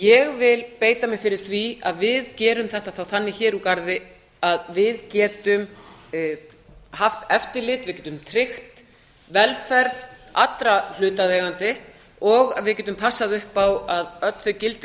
ég vil beita mér fyrir því að við gerum þetta þá þannig hér úr garði að við getum haft eftirlit við getum tryggt velferð allra hlutaðeigenda og að við getum passað upp á að öll þau gildi